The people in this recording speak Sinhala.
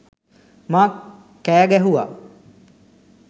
මං කෑ ගැහුවා.